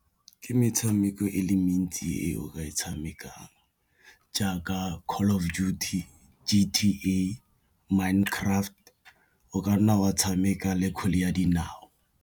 Ke metshameko e le mentsi e o ka e tshamekang jaaka Call of Duty, , Minecraft, o ka nna wa tshameka le kgwele ya dinao.